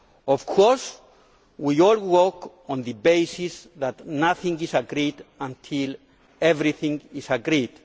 Of course we all work on the basis that nothing is agreed until everything is agreed.